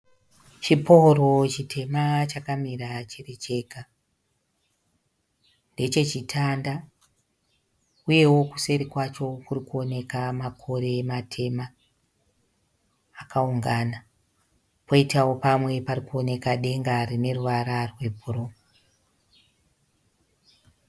Chpooro chitema chakamira chiri chega. Ndeche chitanda uyewo kuseri kwacho kurikuoneka makore matema akaungana poitawo pamwe parikuoneka denga rine ruvara rwebhuruu.